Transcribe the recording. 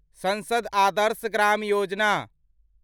संसद आदर्श ग्राम योजना